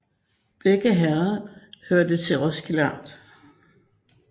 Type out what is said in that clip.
Begge herreder hørte til Roskilde Amt